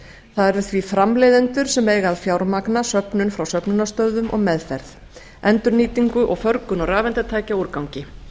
það eru því framleiðendur sem eiga að fjármagna söfnun frá söfnunarstöðvum og meðferð endurnýtingu og förgun á rafeindatækjaúrgangi